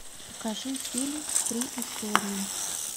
покажи фильм три истории